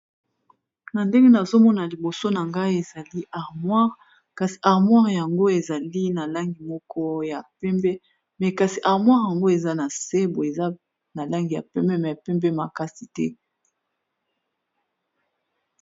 na ndenge nazomona liboso na ngai ezali armoire kasi armoire yango ezali na langi moko ya pembe me kasi armwire yango eza na se bo eza na langi ya pembe me pembe makasi te